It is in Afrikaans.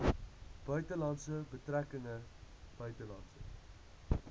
buitelandse betrekkinge buitelandse